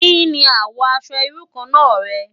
Ki ni àwò aṣò irú kàn rè?